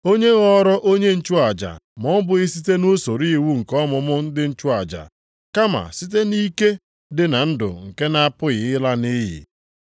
Onye ghọrọ onye nchụaja ma ọ bụghị site nʼusoro iwu nke ọmụmụ ndị nchụaja, kama site nʼike dị na ndụ nke na-apụghị ịla nʼiyi.